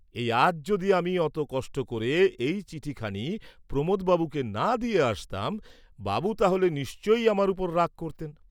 এই আজ যদি আমি অত কষ্ট ক’রে এই চিঠি খানি প্রমোদ বাবুকে না দিয়ে আসতাম, বাবু তাহ'লে নিশ্চয়ই আমার উপর রাগ করতেন।